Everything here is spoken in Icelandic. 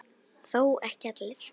Þó ekki allir.